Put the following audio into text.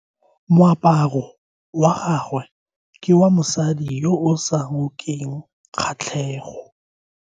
Moaparo wa gagwe ke wa mosadi yo o sa ngokeng kgatlhego.